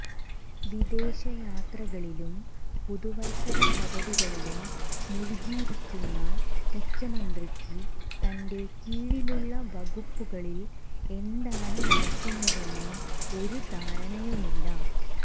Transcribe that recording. വിദേശ യാത്രകളിലും പുതുവത്സര പദ്ധതികളിലും മുഴുകിയിരിക്കുന്ന മുഖ്യമന്ത്രിക്ക് തന്റെ കീഴിലുള്ള വകുപ്പുകളിൽ എന്താണ് നടക്കുന്നതെന്ന് ഒരു ധാരണയുമില്ല